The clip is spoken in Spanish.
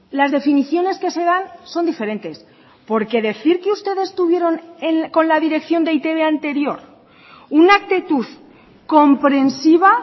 las definiciones que se dan son diferentes porque decir que ustedes tuvieron con la dirección de e i te be anterior una actitud comprensiva